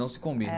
Não se combinam.